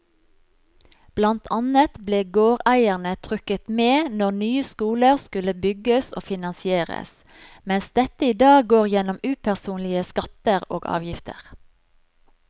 Blant annet ble gårdeierne trukket med når nye skoler skulle bygges og finansieres, mens dette i dag går gjennom upersonlige skatter og avgifter.